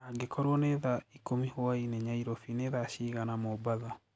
angĩkorwo ni thaa ĩkũmĩ hwaĩnĩ nyairobi ni thaa cĩĩgana mombatha